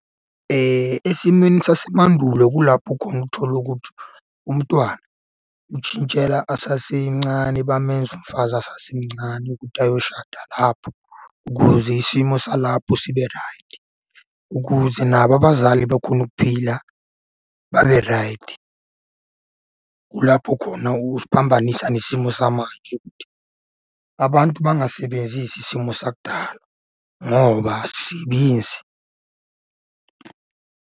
Esimeni sasemandulo kulapho khona uthole ukuthi umntwana utshintshela asasemancane, bamenza umfazi asasemncane ukuthi ayoshada lapho, ukuze isimo salapho sibe raydi, ukuze nabo abazali bakhone ukuphila babe raydi. Kulapho khona usiphambanisa nesimo samanje . Abantu bangasebenzisi isimo sakudala ngoba asisebenzi.